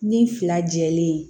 Ni fila jɛlen ye